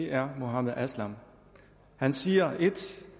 er muhammad aslam han siger et